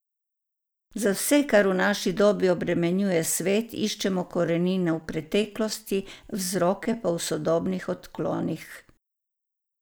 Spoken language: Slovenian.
Za vse, kar v naši dobi obremenjuje svet, iščemo korenine v preteklosti, vzroke pa v sodobnih odklonih.